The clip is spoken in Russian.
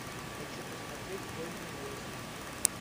хочу посмотреть поздняя осень